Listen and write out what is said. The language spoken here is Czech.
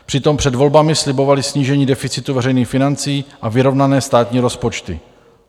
Přitom před volbami slibovali snížení deficitu veřejných financí a vyrovnané státní rozpočty.